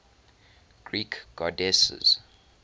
greek goddesses